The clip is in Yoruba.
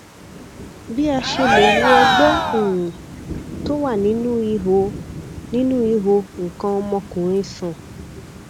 bí a ṣe lè wo ọgbẹ um tó wà nínú ihò nínú ihò nǹkan ọmọkùnrin sàn